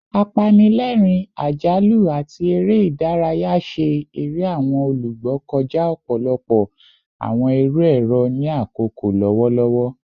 Apanilẹrin, ajalu, ati ere idaraya ṣe ere awọn olugbo kọja ọpọlọpọ awọn iru ẹrọ ni akoko lọwọlọwọ